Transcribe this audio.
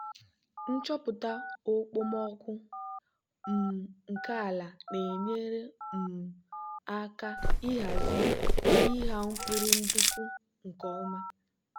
nchọpụta okpomọkụ um nke ala na-enyere um aka ịhazi ịgha mkpụrụ nduku nke ọma.